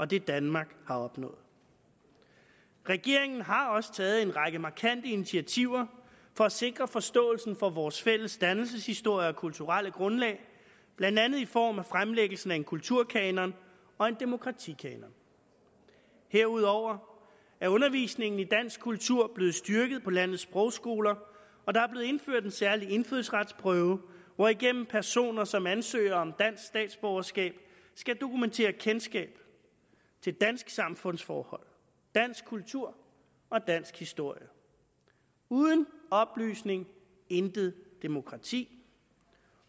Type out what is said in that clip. det danmark har opnået regeringen har også taget en række markante initiativer for at sikre forståelsen for vores fælles dannelseshistorie og kulturelle grundlag blandt andet i form af fremlæggelsen af en kulturkanon og en demokratikanon herudover er undervisning i dansk kultur blevet styrket på landets sprogskoler og der er blevet indført en særlig indfødsretsprøve hvorigennem personer som ansøger om dansk statsborgerskab skal dokumentere kendskab til danske samfundsforhold dansk kultur og dansk historie uden oplysning intet demokrati